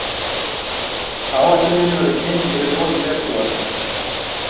Áætlunin verður kynnt fyrir lok febrúar